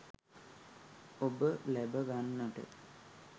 ඔබ ලැබ ගන්නට